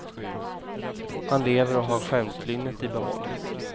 Han lever och har skämtlynnet i behåll.